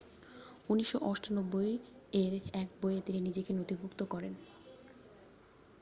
1998 এর এক বইয়ে তিনি নিজেকে নথিভুক্ত করেন